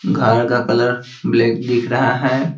घर का colour black दिख रहा है।